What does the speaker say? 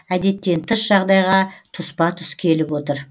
әдеттен тыс жағдайға тұспа тұс келіп отыр